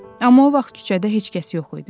Amma o vaxt küçədə heç kəs yox idi.